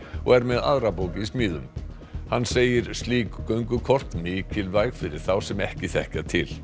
og er með aðra bók í smíðum hann segir slík göngukort mikilvæg fyrir þá sem ekki þekkja til